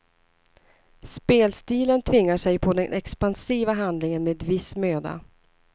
Spelstilen tvingar sig på den expansiva handlingen med viss möda.